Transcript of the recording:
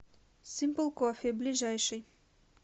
симпл кофе ближайший